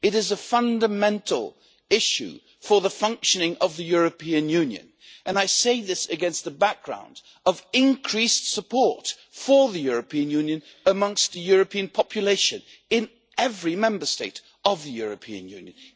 It is a fundamental issue for the functioning of the European Union, and I say this against the background of increased support for the European Union amongst the European population in every Member State of the European Union.